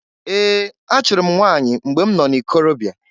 Ee! Achụrụ m nwanyị mgbe m nọ n'ikorobia.